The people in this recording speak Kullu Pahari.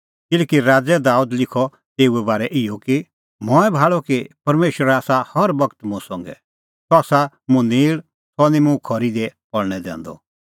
किल्हैकि राज़अ दाबेद लिखा तेऊए बारै इहअ कि मंऐं भाल़अ कि परमेशर आसा हर बगत मुंह संघै सह आसा मुंह नेल़ सह निं मुंह खरी दी पल़णै दैंदअ